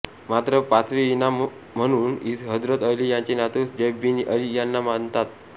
मात्र पाचवे इमाम म्हणून हजरत अली यांचे नातू जैद बिन अली यांना मानतात